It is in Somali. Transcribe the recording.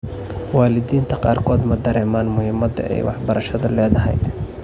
Waalidiinta qaarkood ma dareemaan muhiimadda ay waxbarashadu leedahay.